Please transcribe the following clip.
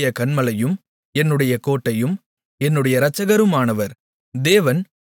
யெகோவா என்னுடைய கன்மலையும் என்னுடைய கோட்டையும் என்னுடைய இரட்சகருமானவர்